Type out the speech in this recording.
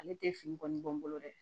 Ale tɛ fini kɔni bɔ n bolo dɛ